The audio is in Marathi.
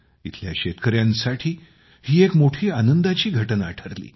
इथल्या शेतकऱ्यांसाठी ही एक मोठी आनंदाची घटना ठरली